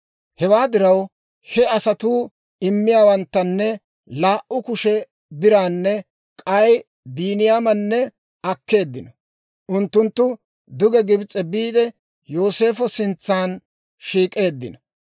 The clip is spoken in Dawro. Hewaa diraw he asatuu imotaanne laa"u kushe biraanne k'ay Biiniyaamanne akkeeddino. Unttunttu duge Gibs'e biide, Yooseefo sintsa shiik'eeddino.